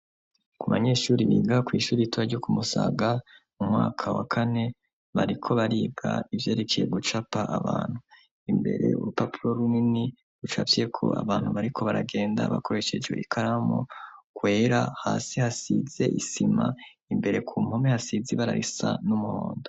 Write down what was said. Ku banyeshuri biga kw'ishuri itora ryo kumusaga mu mwaka wa kane bariko bariga ivyerekiye gucapa abantu imbere urupapuro runini rucavyeko abantu bariko baragenda bakoresheje ikaramu kwera hasi hasize isima imbere ku mpome hasize ibararisa n'umontu.